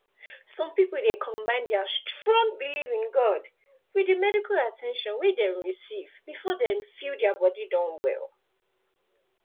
some people dey combine dia strong belief in god with di medical at ten tion wey dem receive before dem feel dia body don well